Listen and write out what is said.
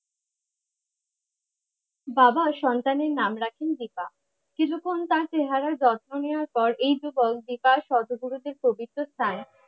বাবা সন্তানের নাম রাখেন দীপা কিছুক্ষন তার চেহারার যত্ন নেওয়ার পর এই সর্বগুরুদের পবিত্র স্থান